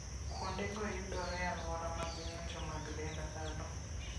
Kuondego yudore e alwora mar ng'injo mag dend dhano.